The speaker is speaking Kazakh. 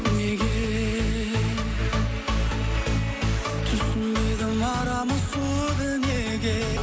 неге түсінбедім арамыз суыды неге